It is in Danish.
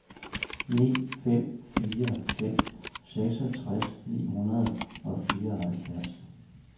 ni fem fire fem seksogtres ni hundrede og fireoghalvfjerds